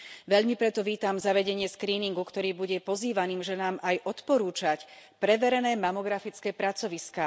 Veľmi preto vítam zavedenie skríningu, ktorý bude pozývaným ženám aj odporúčať preverené mamografické pracoviská.